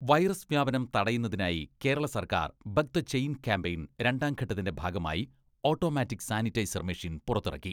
Virus വ്യാപനം തടയുന്നതിനായി കേരള സർക്കാർ ബക്ക് ദ ചെയിൻ കാമ്പയിൻ രണ്ടാം ഘട്ടത്തിന്റെ ഭാഗമായി ഓട്ടോമാറ്റിക് സാനിറ്റൈസർ മെഷീൻ പുറത്തിറക്കി.